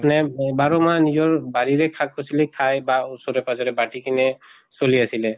মানে বাৰ মাহ নিজৰ বাৰিৰে শাক পাচলী খায় বা ওচৰে পাজৰে বাটি কিনে চলি আছিলে।